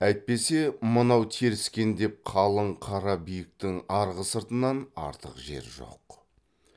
әйтпесе мынау теріскендеп қалың қара биіктің арғы сыртынан артық жер жоқ